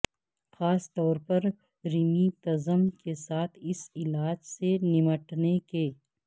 خاص طور پر ریممیتزم کے ساتھ اس علاج سے نمٹنے کے